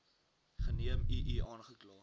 geneem ii aangekla